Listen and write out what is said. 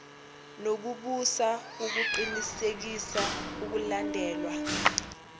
nokubusa ukuqinisekisa ukulandelwa